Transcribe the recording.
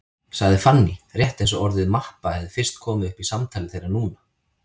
sagði Fanný, rétt eins og orðið mappa hefði fyrst komið upp í samtali þeirra núna.